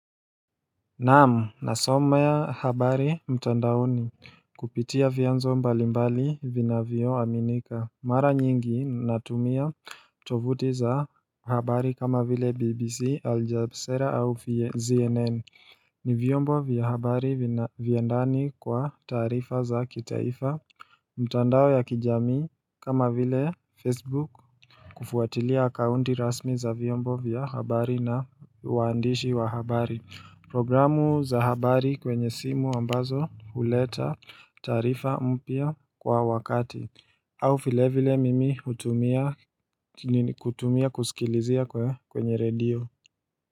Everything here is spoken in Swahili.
Naam nasomea habari mtandaoni kupitia vyanzo mbalimbali vinavyo aminika. Mara nyingi natumia tovuti za habari kama vile bbc aljazera au cnn ni vyombo vya habari vya ndani kwa taarifa za kitaifa mitandao ya kijami kama vile facebook kufuatilia kaunti rasmi za vyombo vya habari na uandishi wa habari. Programu za habari kwenye simu ambazo huleta taarifa mpya kwa wakati au vilevile mimi hutumia kutumia kusikilizia kwa kwenye redio.